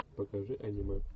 покажи аниме